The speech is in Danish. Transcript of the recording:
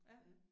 Ja